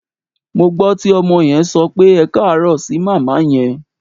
Mo gbọ́ tí ọmọ yẹn sọ pé "ẹkáàárọ̀" sí màmá yẹn.